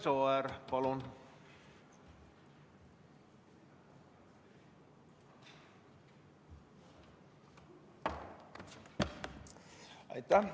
Imre Sooäär, palun!